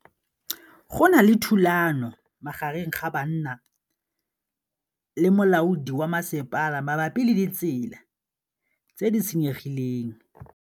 Go na le thulanô magareng ga banna le molaodi wa masepala mabapi le ditsela tse di senyegileng.